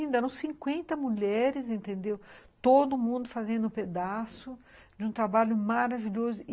eram cinquenta mulheres, todo mundo fazendo um pedaço de um trabalho maravilhoso.